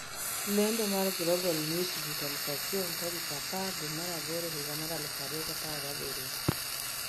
Lendo mar Global Newsbeat 1000 tarik 10/08/2017